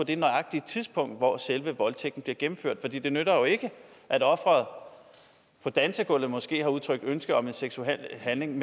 det nøjagtige tidspunkt hvor selve voldtægten blev gennemført for det nytter jo ikke at offeret på dansegulvet måske har udtrykt ønske om en seksuel handling